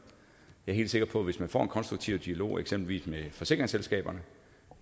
jeg er helt sikker på at hvis man får en konstruktiv dialog eksempelvis med forsikringsselskaberne